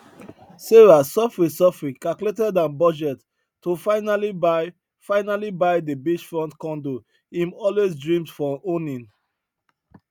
sarah sofri sofri calculated her budget to finally buy finally buy di beachfront condo im always dreamed for owning